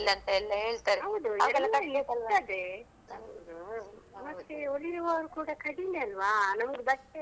ಮತ್ತೇ ಹೊಲಿವವ್ರು ಕೂಡ ಕಡಿಮೆ ಅಲ್ವಾ ನಮ್ಗೆ ಬಟ್ಟೆ ಎಲ್ಲ ತೊಕೊಳಿಕ್ಕೆ ಕಷ್ಟ ಅಲ್ವಾ ಆಹೊತ್ತಿನಲ್ಲಿ.